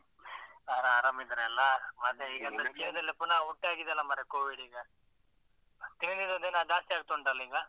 ಆರಾಮ್ ಇದ್ದಾರಾ ಎಲ್ಲಾ, ಮತ್ತೆ ಈಗೆಲ್ಲ ಪುನ ಒಟ್ಟಾಗಿದೆಯಲ್ಲ ಮಾರೆ Covid ಈಗ. ದಿನದಿಂದ ದಿನ ಜಾಸ್ತಿ ಆಗ್ತಾ ಉಂಟಲ್ಲ ಈಗ.